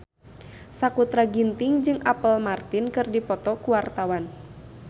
Sakutra Ginting jeung Apple Martin keur dipoto ku wartawan